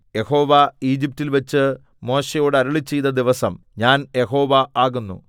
3 യഹോവ ഈജിപ്റ്റിൽ വച്ച് മോശെയോട് അരുളിച്ചെയ്ത ദിവസം ഞാൻ യഹോവ ആകുന്നു